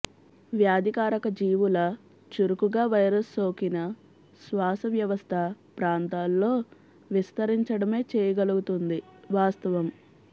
వ్యాధికారక జీవుల చురుకుగా వైరస్ సోకిన శ్వాస వ్యవస్థ ప్రాంతాల్లో విస్తరించడమే చేయగలుగుతుంది వాస్తవం